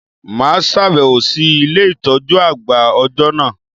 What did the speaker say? Mà á sàbẹ̀wò sí Ilé ìtójú àgbà òjọ́ nà